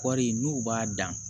Kɔri n'u b'a dan